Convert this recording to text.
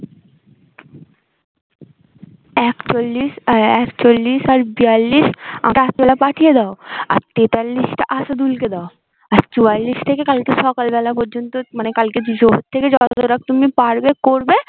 এক চল্লিশ একচল্লিশ আর বিয়াল্লিশ আর তার পাঠিয়ে দাও আর তেতাল্লিশ টা আসাদুল কে দাও আর চুয়াল্লিশটাকে কালকে সকালবেলা পর্যন্ত মানে কালকে দুপুরবেলা থেকে যতটা তুমি পারবে করবে